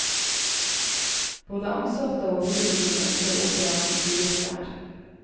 Både ansatte og publikum ønsker operaen bygget der.